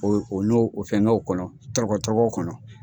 O n'o fɛnkɛw kɔnɔ tɔrɔkɔtɔrɔkɔ kɔnɔ.